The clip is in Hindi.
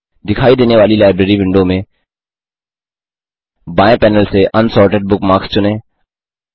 दिखाई देने वाली लाइब्रेरी विंडो में बाएं पैनल से अनसॉर्टेड बुकमार्क्स चुनें